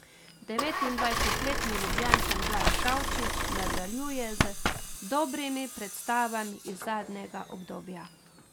Devetindvajsetletni Ljubljančan Blaž Kavčič nadaljuje z dobrimi predstavami iz zadnjega obdobja.